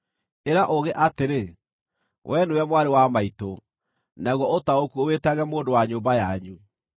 Ĩra ũũgĩ atĩrĩ, “Wee nĩwe mwarĩ wa maitũ,” naguo ũtaũku ũwĩtage mũndũ wa nyũmba yanyu;